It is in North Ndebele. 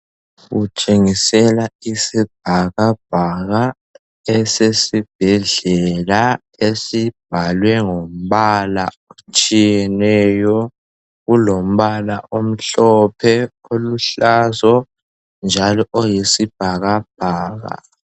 Kutshengisela isibhakabhaka esesibhedlela esibhalwe ngombala otshiyeneyo. Kulombala omhlophe , oluhlazo njalo oyisibhakabhaka.